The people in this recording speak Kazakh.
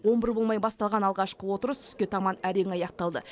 он бір болмай басталған алғашқы отырыс түске таман әрең аяқталды